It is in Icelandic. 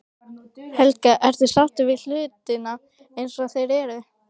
Helga: Ertu sáttur við hlutina eins og þeir eru?